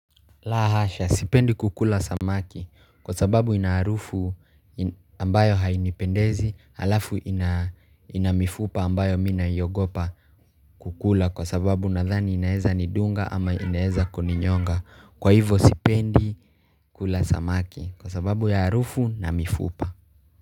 Lahasha sipendi kukula samaki kwa sababu ina harufu ambayo hainipendezi alafu ina mifupa ambayo mina yogopa kukula kwa sababu nadhani inaeza ni dunga ama inaeza koninyonga kwa hivo sipendi kukula samaki kwa sababu ya arufu na mifupa.